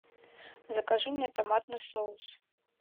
закажи мне томатный соус